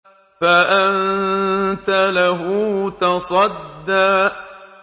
فَأَنتَ لَهُ تَصَدَّىٰ